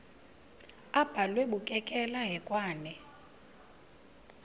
abhalwe bukekela hekwane